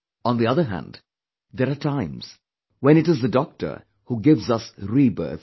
On the other hand, there are times when it is the Doctor who gives us rebirth